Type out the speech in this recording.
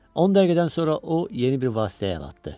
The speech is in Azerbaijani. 10 dəqiqədən sonra o, yeni bir vasitəyə əl atdı.